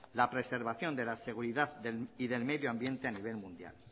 la preservación de la seguridad y del medioambiente a nivel mundial